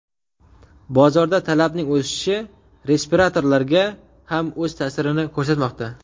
Bozorda talabning o‘sishi respiratorlarga ham o‘z ta’sirini ko‘rsatmoqda.